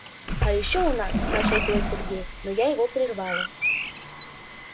а ещё у нас начал было сергей но я его прервала